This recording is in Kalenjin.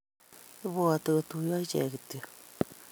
Ibwoti kotuiyo iche kityo